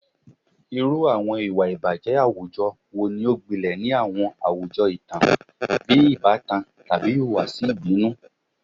Irú àwọn ìwà ìbàjẹ́ àwùjọ wo ni ó gbilẹ̀ ni àwọn àwùjọ ìtàn, bíi ìbátan tàbí ìhùwàsí ìbínú?